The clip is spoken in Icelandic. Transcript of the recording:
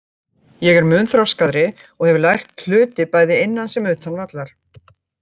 Ég er mun þroskaðri og hef lært hluti bæði innan sem utan vallar.